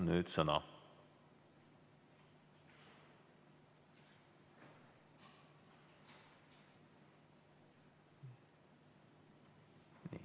Teil on sõna.